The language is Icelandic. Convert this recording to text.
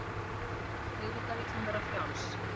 Auðvitað vill hún vera frjáls.